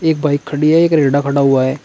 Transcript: Bike खड़ी है एक रेहड़ा खड़ा हुआ है।